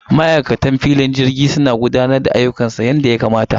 Ma'aikatan jirgin sama suna matukar gudanar da ayyukansu yadda ya kamata.